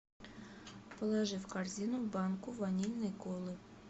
положи в корзину банку ванильной колы